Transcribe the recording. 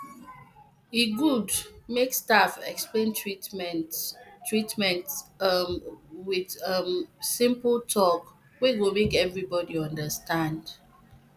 e good make staff explain treatment treatment um with um simple talk wey go make everybody understand um